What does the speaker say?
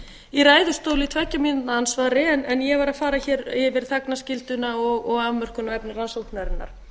í ræðustóli í tveggja mínútna andsvari en ég var að fara hér yfir þagnarskylduna og afmörkun á efni rannsóknarinnar